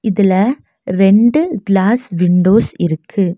இதுல ரெண்டு glass windows இருக்கு.